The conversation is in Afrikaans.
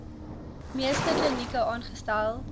meeste klinieke aangestel